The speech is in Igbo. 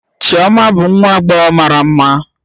Chioma bụ nwa agbọghọ mara mma